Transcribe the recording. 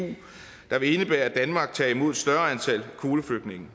der vil indebære at danmark tager imod større antal kvoteflygtninge